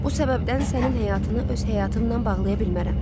Bu səbəbdən sənin həyatını öz həyatımla bağlaya bilmərəm.